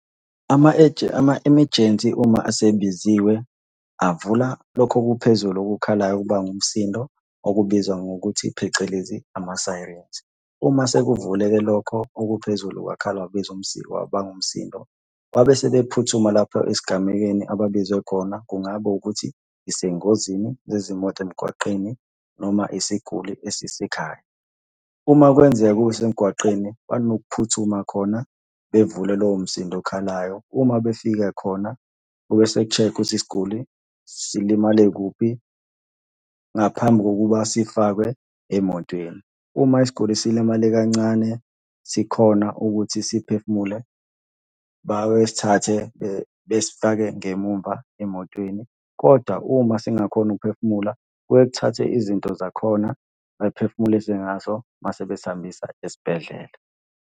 Ama-emergency uma esebiziwe, avula lokhu okuphezulu okukhalayo okubanga umsindo okubizwa ngokuthi phecelezi, ama-sirens. Uma sekuvuleke lokho okuphezulu kwakhala kwenze umsindo, kwabanga umsindo. Babe sebephuthuma lapho esigamekweni ababizwe khona. Kungaba ukuthi isengozini zezimoto emgwaqeni noma isiguli esisekhaya. Uma kwenzeka kuba isemgwaqeni, banokuphuthuma khona bevule lowo msindo okhalayo. Uma befika khona kube seku-check-wa ukuthi isiguli silimale kuphi ngaphambi kokuba sifakwe emotweni. Uma isiguli silimale kancane, sikhona ukuthi siphefumule, bawesithathe besifake ngemumva emotweni, kodwa uma singakhoni ukuphefumula, kuye kuthathwe izinto zakhona bayiphefumulise ngazo, mase besihambisa esibhedlela.